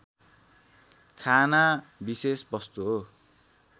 खाना विशेष वस्तु हो